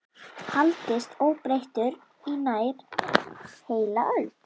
haldist óbreyttur í nær heila öld.